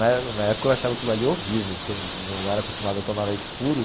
Na na época eu achava aquilo ali horrível, porque eu não era acostumado a tomar leite puro.